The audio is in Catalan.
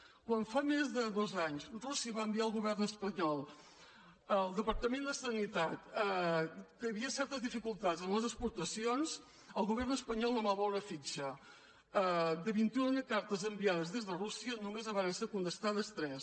quan fa més de dos anys rússia va enviar al govern espanyol al departament de sanitat que hi havia cer·tes dificultats en les exportacions el govern espanyol no va moure fitxa de vint·i·una cartes enviades des de rússia només en varen ser contestades tres